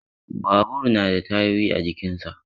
Babur da na da tayoyi a jikinsa